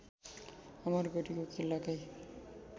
अमरगढीको किल्लाकै